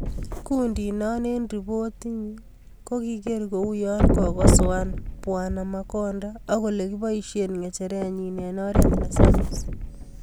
Kundit no eng ripot nyi ko kikiker ko u yo kokosoan Bw Makonda akole kipaishe ngecheret nyi ing oret ne samis.